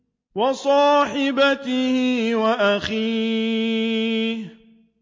وَصَاحِبَتِهِ وَأَخِيهِ